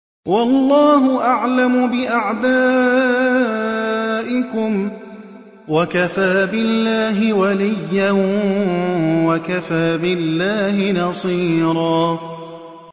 وَاللَّهُ أَعْلَمُ بِأَعْدَائِكُمْ ۚ وَكَفَىٰ بِاللَّهِ وَلِيًّا وَكَفَىٰ بِاللَّهِ نَصِيرًا